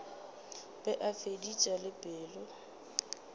be a feditše le pelo